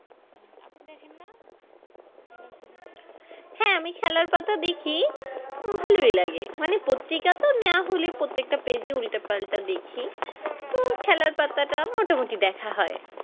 হ্যাঁ আমি খেলার পাতা দেখি ভালোই লাগে প্রত্রিকা তো না হলে প্রত্যেকটা Page ই উল্টে পাল্টা দেখি তো খেলার পাতাটা মোটামুটি দেখা হয়